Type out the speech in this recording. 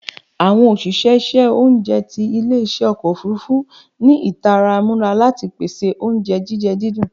Awọn oṣiṣẹ iṣẹ ounjẹ ti ile-iṣẹ ọkọ ofurufu ni itara mura ati pese ounjẹ jijẹ didùn